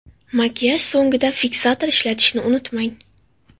Makiyaj so‘ngida fiksator ishlatishni unutmang.